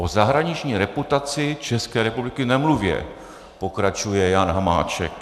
O zahraniční reputaci České republiky nemluvě," pokračuje Jan Hamáček.